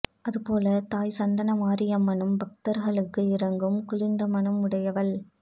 அதுபோல தாய் சந்தனமாரியம்மனும் பக்தர்களுக்கு இறங்கும் குளிர்ந்த மனம் உடையவள்